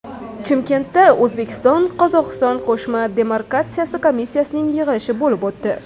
Chimkentda O‘zbekistonQozog‘iston Qo‘shma demarkatsiya komissiyasining yig‘ilishi bo‘lib o‘tdi.